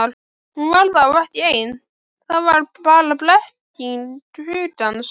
Hún var þá ekki ein, það var bara blekking hugans.